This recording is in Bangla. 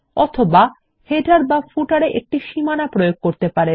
অথবা শিরোলেখ বা পাদলেখতে একটি সীমানা প্রয়োগ করতে পারেন